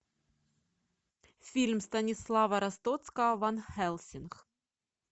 фильм станислава ростоцкого ван хельсинг